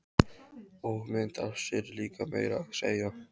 Og mynd af sér líka meira að segja.